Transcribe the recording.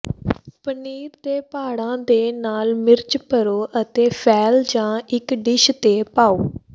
ਪਨੀਰ ਦੇ ਭਾਂਡ਼ਾਂ ਦੇ ਨਾਲ ਮਿਰਚ ਭਰੋ ਅਤੇ ਫੈਲ ਜਾਂ ਇੱਕ ਡਿਸ਼ ਤੇ ਪਾਓ